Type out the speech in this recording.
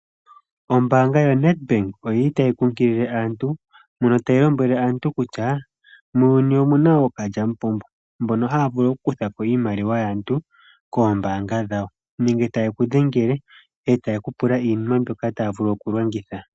Ombaanga yo Nedbank oyili tayi kunkilile aantu mono tayi lombwele aantu kutya muuyuni omuna ookalyamupombo mbono ha vulu oku kuthako iimaliwa yaantu kombaanga dhawo nenge taye ku dhengele etaye kupula iinima mbyoka taya vulu oku longitha.